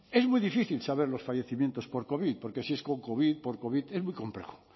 es muy difícil saber los fallecimientos por covid porque si es con covid por covid es muy complejo